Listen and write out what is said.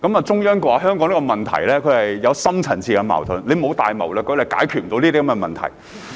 中央說香港的問題有深層次矛盾，沒有大謀略就解決不了這些問題。